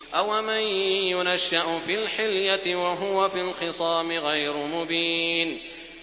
أَوَمَن يُنَشَّأُ فِي الْحِلْيَةِ وَهُوَ فِي الْخِصَامِ غَيْرُ مُبِينٍ